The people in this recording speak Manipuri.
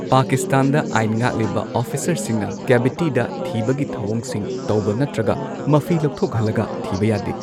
ꯄꯥꯀꯤꯁꯇꯥꯟꯗ ꯑꯥꯢꯟ ꯉꯥꯛꯂꯤꯕ ꯑꯣꯐꯤꯁꯔꯁꯤꯡꯅ ꯀꯦꯚꯤꯇꯤꯗ ꯊꯤꯕꯒꯤ ꯊꯧꯑꯣꯡꯁꯤꯡ ꯇꯧꯕ ꯅꯠꯇ꯭ꯔꯒ ꯃꯐꯤ ꯂꯧꯊꯣꯛꯍꯜꯂꯒ ꯊꯤꯕ ꯌꯥꯗꯦ꯫